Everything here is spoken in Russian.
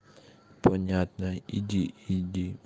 понятно иди иди